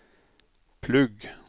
plugg